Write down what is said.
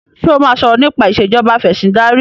ṣe o má sọrọ nipa Ìṣèjọba Afẹ̀sìndarí?